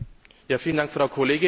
Vielen Dank, Frau Kollegin!